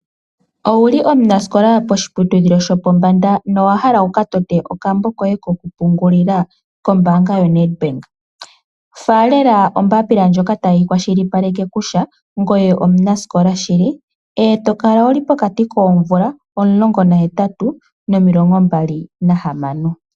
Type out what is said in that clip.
Owuli omunasikola poshiputudhilo shopombanda, nowahala wukatote okambo koye kokupungulila kombaanga yoNedbank, faalela ombapila ndjoka tayi kwashilipaleke kutya ngoye omunasikola shili. Kala wuli pokati koomvula omulongo nahetatu nomilongo mbali nahamano.